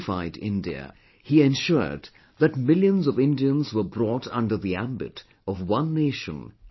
He ensured that millions of Indians were brought under the ambit of one nation & one constitution